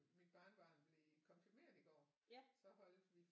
Mit barnebarn blev konfirmeret i går så holdt vi